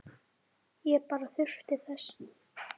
Ég bara þurfti þess.